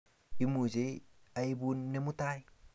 Imache aipun nee mutai?